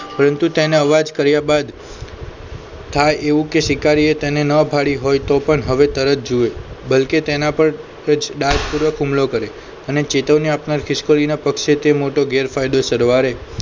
પરંતુ તેને અવાજ કર્યા બાદ થાય એવું કે શિકારીએ તેને ન ભાળી હોય તો પણ હવે તરત જુએ બલ્કે તેના પર સાવ ડાર્ક પૂર્વક હુમલો કર્યો અને ચેતવણી આપનાર ખિસકોલીના પક્ષે તે મોટો ગેરફાયદો સરવારે